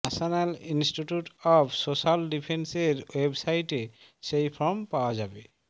national institute of social ডিফেন্সের ওয়েবসাইটে সেই ফর্ম পাওয়া যাবে